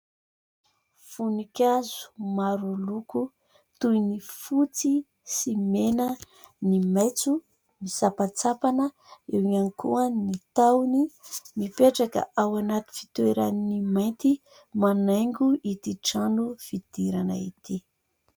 Voninkazo maro loko toy ny fotsy sy mena, ny maitso misampatsampana, eo ihany koa ny tahony mipetraka ao anaty fitoerany mainty manaingo ity trano fidirana ity.